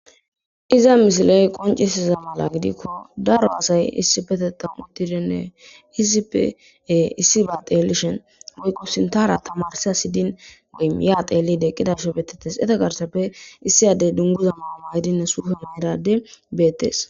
iza misiley qoncisiza mala gidikko daro asay issi betetan udtidinne iisipe issi ba teellishen goykqo sintara tamarsa sidin geyyaa teellideqqidarsho beetettes eta garsappe issiyadey dunguza manama hedina sufoon edade beettes